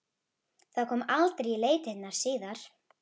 Það kom aldrei í leitirnar síðar.